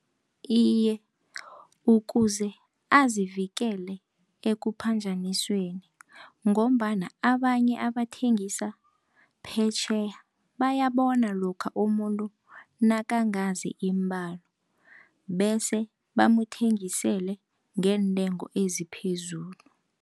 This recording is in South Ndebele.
Iye, ukuze azivikele ekuphanjanisweni, ngombana abanye abathengisa phetjheya bayabona lokha umuntu nakangazi iimbalo. Bese bamuthengisele ngeentengo eziphezulu.